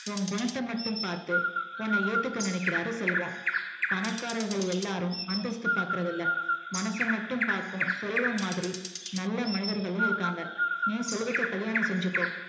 உன்குணத்த மட்டும் பாத்து உன்ன ஏத்துக்க நினைக்கிறாரு செல்வம் பணக்காரங்க எல்லாரும் அந்தஸ்த்து பாக்கறது இல்ல மனச மட்டும் பாக்கு செல்வமாதிரி நல்ல மனிதர்களும் இருக்காங்க நீ செல்வத்த கல்லியான செஞ்சிக்கோ